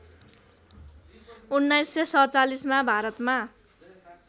१९४७ मा भारतमा